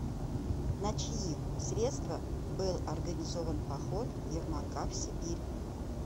на чьи средства был организован поход ермака в сибирь